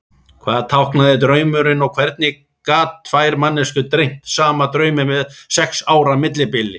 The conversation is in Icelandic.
Hvað táknaði draumurinn og hvernig gat tvær manneskjur dreymt sama drauminn með sex ára millibili?